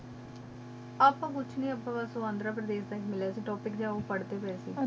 अब तो खोच नहीं ही बस अब तो सोहनदारा सा grad test topic